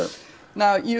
í